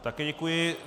Také děkuji.